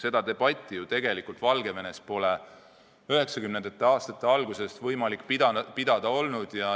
Seda debatti ju tegelikult pole Valgevenes 1990. aastate algusest peale võimalik pidada olnud.